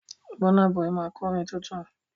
Bọ́ná bọyì máa kọ orin tuntun.